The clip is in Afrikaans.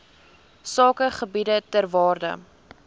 sakegebiede ter waarde